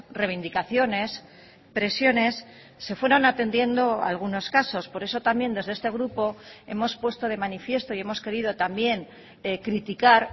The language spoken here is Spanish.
reivindicaciones presiones se fueron atendiendo algunos casos por eso también desde este grupo hemos puesto de manifiesto y hemos querido también criticar